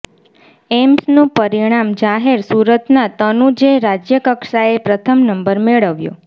એમ્સનું પરિણામ જાહેર સુરતના તનુજે રાજ્યકક્ષાએ પ્રથમ નંબર મેળવ્યો